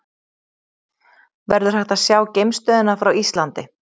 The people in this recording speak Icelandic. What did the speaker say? Verður hægt að sjá geimstöðina frá Íslandi?